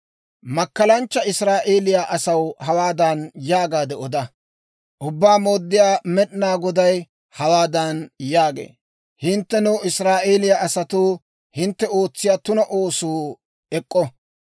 Makkalanchcha Israa'eeliyaa asaw hawaadan yaagaade oda; ‹Ubbaa Mooddiyaa Med'inaa Goday hawaadan yaagee; «Hinttenoo, Israa'eeliyaa asatoo, hintte ootsiyaa tuna oosuu ek'k'o.